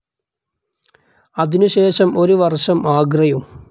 അതിനുശേഷം ഒരു വർഷം ആഗ്രയും.